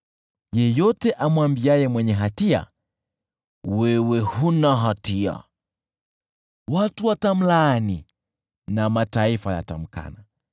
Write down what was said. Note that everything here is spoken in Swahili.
Yeyote amwambiaye mwenye hatia, “Wewe huna hatia,” Kabila zitamlaani na mataifa yatamkana.